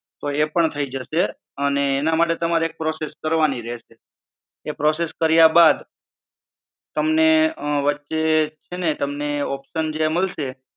તો એ પણ થઈ જસે અને એના માટે તમારે એક process કરવાની રહેશે, તે process કર્યા બાદ, તમને વચ્ચે છે ને તમને option જે મળશે.